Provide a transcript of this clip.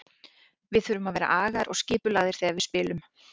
Við þurfum að vera agaðir og skipulagðir þegar við spilum.